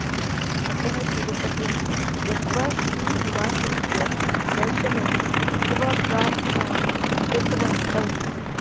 अतः तिरुपतिं गत्वा श्रीनिवासस्य दर्शनं कृत्वा प्रार्थनां कृतवन्तौ